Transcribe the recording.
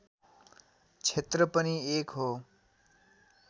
क्षेत्र पनि एक हो